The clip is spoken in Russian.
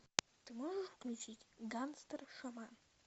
ты можешь включить гангстер шаман